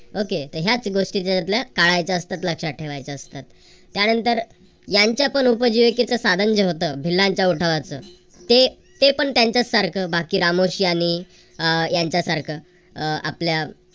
okay तर याच गोष्टी आपल्याला टाळायच्या असतात लक्षात ठेवायच्या असतात त्यानंतर यांच्या पण उपजीविकेचे साधन जे होतं भिल्लांच्या उठावाच ते ते पण त्यांच्यासारखं बाकी रामोशी आणि अह यांच्यासारख अह आपल्या